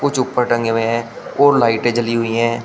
जो ऊपर टंगे हुए हैं और लाइटें जली हुई हैं।